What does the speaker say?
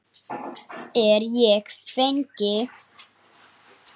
Er ég fangi?